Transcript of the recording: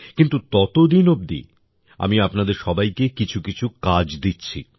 কিন্তু ততদিন অবধি আমি আপনাদের সবাইকে কিছুকিছু কাজ দিচ্ছি